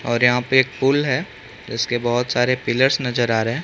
और यहाँ पे पूल है जिसके बहोत सारे पिल्लर्स नजर आ रहे हैं।